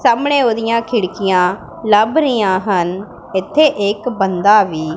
ਸਾਹਮਣੇ ਉਹਦੀਆਂ ਖਿੜਕੀਆਂ ਲੱਭ ਰਹੀਆਂ ਹਨ ਇੱਥੇ ਇੱਕ ਬੰਦਾ ਵੀ--